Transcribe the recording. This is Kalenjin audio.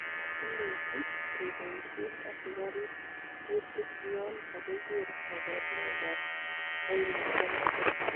Imuch keboisien asikarib kutik yon kokiker koborunoikab koimutioniton.